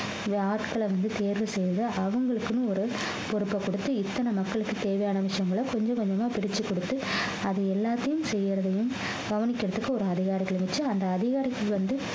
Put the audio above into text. ஆட்களை வந்து தேர்வு செய்து அவங்களுக்குன்னு ஒரு பொறுப்பை கொடுத்து இத்தனை மக்களுக்கு தேவையான விஷயங்களை கொஞ்சம் கொஞ்சமா பிரிச்சு கொடுத்து அதை எல்லாத்தையும் செய்யிறதையும் கவனிக்கிறதுக்கு ஒரு அதிகாரிகளை வச்சு அந்த அதிகாரிக்கு வந்து